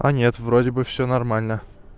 да нет вроде бы все нормально